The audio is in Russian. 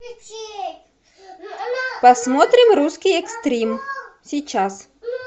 посмотрим русский экстрим сейчас